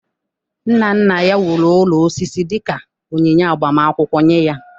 Nna nna ya wuru ụlọ osisi dị ka onyinye agbamakwụkwọ nye ya.